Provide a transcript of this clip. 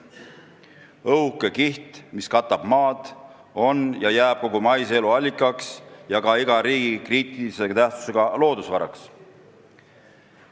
õhuke kiht, mis katab maad, on ja jääb kogu maise elu allikaks – ja ka iga riigi kriitilise tähtsusega loodusvaraks.